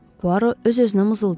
Puaro öz-özünə mızıldandı.